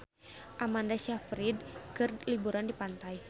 Amanda Sayfried keur liburan di pantai